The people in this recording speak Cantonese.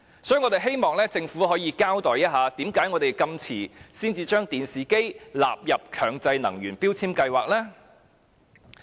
因此，我們希望政府可以交代，為何香港直至現時才把電視機納入強制性標籤計劃？